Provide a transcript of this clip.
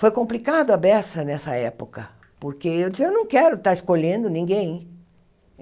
Foi complicado a beça nessa época, porque eu disse, eu não quero estar escolhendo ninguém.